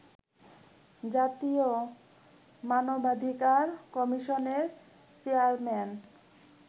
জাতীয় মানবাধিকার কমিশনের চেয়ারম্যান